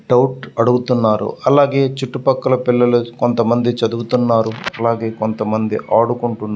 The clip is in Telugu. డౌట్ అడుగుతున్నారు అల్లాగే చుట్టూ పక్కల పిల్లలు కొంతమంది చదువుతున్నారు అలాగే కొంతమంది ఆడుకుంటున్నారు.